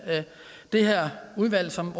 det her udvalg som